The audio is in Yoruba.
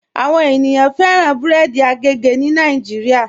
Àwọn ènìyàn fẹran bẹ̀rẹ̀dì àgègè ni Nàìjíríà.